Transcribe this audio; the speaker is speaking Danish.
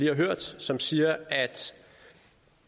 har hørt som siger at